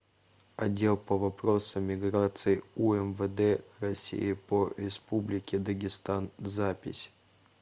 отдел по вопросам миграции умвд россии по республике дагестан запись